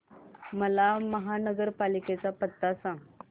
मला महापालिकेचा पत्ता सांग